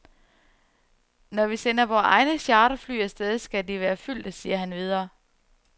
Når vi sender vore egne charterfly af sted, skal de være fyldte, siger han videre.